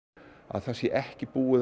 þá sé ekki búið